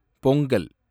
Pongal